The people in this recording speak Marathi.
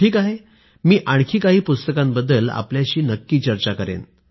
ठीक आहे मी आणखी काही पुस्तकांबद्दल आपल्याशी नक्की चर्चा करेन